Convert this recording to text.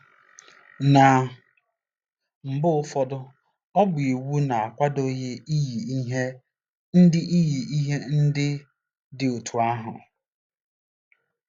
Ná mba ụfọdụ, ọ bụ iwu na-akwadoghị iyi ihe ndị iyi ihe ndị dị otú ahụ.